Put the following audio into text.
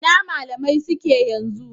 Ina malamai suke yanzu?.